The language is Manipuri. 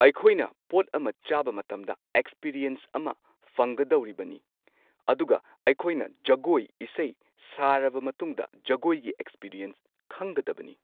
ꯑꯩꯈꯣꯏꯅ ꯄꯣꯠ ꯑꯃ ꯆꯥꯕ ꯃꯇꯝꯗ ꯑꯦꯛꯁꯄꯤꯔꯤꯌꯦꯟꯁ ꯑꯃ ꯐꯪꯒꯗꯧꯔꯤꯕꯅꯤ꯫ ꯑꯗꯨꯒ ꯑꯩꯈꯣꯏꯅ ꯖꯒꯣꯢ ꯏꯁꯩꯒꯤ ꯁꯥꯔꯕ ꯃꯇꯨꯡꯗ ꯖꯒꯣꯏꯒꯤ ꯑꯦꯛꯁꯄꯤꯔꯦꯟꯁ ꯈꯪꯒꯗꯕꯅꯤ꯫